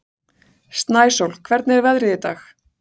Snæsól, hvernig er veðrið í dag?